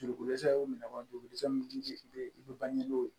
Dugukodɛsɛ y'u minɛ wa dugukosɛ min bɛ yen i bɛ ban ni